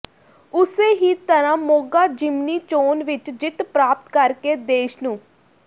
ਉਸੇ ਹੀ ਤਰ੍ਹਾਂ ਮੋਗਾ ਜ਼ਿਮਨੀ ਚੋਣ ਵਿਚ ਜਿੱਤ ਪ੍ਰਾਪਤ ਕਰਕੇ ਦੇਸ਼ ਨੂ